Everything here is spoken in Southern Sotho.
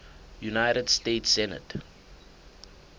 united states senate